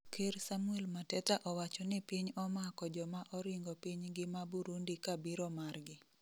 ker Samuel Mateta owacho ni piny omako joma oringo pinygi ma Burundi ka biro margi